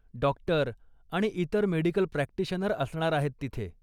Doctor आणि इतर medical practitioner असणार आहेत तिथे.